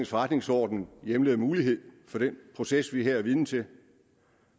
forretningsorden hjemler mulighed for den proces vi her er vidner til